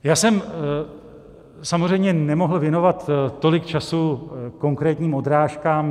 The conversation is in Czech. Já jsem samozřejmě nemohl věnovat tolik času konkrétním odrážkám.